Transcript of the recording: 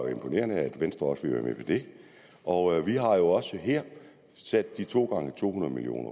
jo imponerende at venstre også ville være med på det og vi har jo også sat de to gange to hundrede million